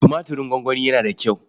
Tumatirin gongoni yana da kyau.